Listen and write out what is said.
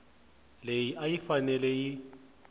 leyi a yi fanele yi